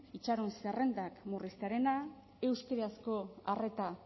itxaron zerrendak murriztea euskarazko arreta